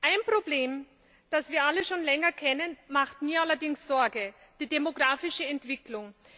Ein Problem, das wir alle schon länger kennen, macht mir allerdings Sorge die demografische Entwicklung.